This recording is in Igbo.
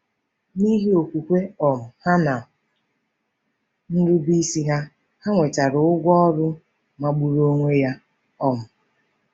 N'ihi okwukwe um ha na nrubeisi ha, ha nwetara ụgwọ ọrụ magburu onwe ya. um